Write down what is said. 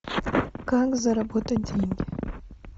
как заработать деньги